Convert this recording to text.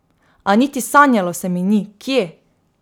A niti sanjalo se mi ni, kje.